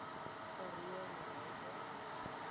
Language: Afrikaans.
karoo murrayburg